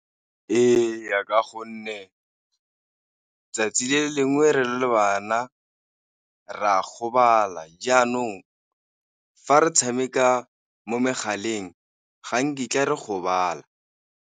Ee, ka gonne 'tsatsi le lengwe re le bana re a gobala, jaanong fa re tshameka mo megaleng ga nkitla re gobala.